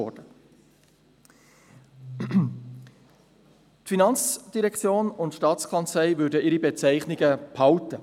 Die FIN und die STA würden ihre Bezeichnungen behalten.